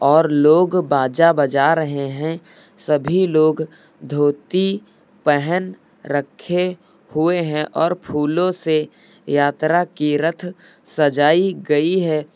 और लोग बाजा बजा रहे हैं। सभी लोग धोती पहन रखे हुए हैं और फूलों से यात्रा की रथ सजाई गई है।